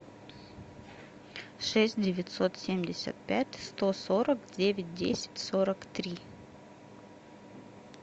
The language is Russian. шесть девятьсот семьдесят пять сто сорок девять десять сорок три